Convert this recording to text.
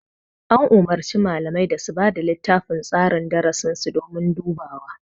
An umurci malamai da su bada littafin tsarin darasi sun domin dubawa